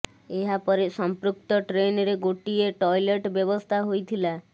ଏହା ପରେ ସଂପୃକ୍ତ ଟ୍ରେନରେ ଗୋଟିଏ ଟଏଲେଟ୍ ବ୍ୟବସ୍ଥା ହୋଇଥିଲା